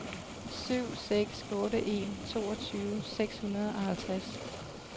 syv seks otte en toogtyve seks hundrede og halvtreds